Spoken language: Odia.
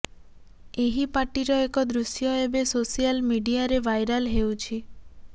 ଏହି ପାର୍ଟିର ଏକ ଦୃଶ୍ୟ ଏବେ ସୋସିଆଲ ମିଡିଆରେ ଭାଇରଲ ହେଉଛି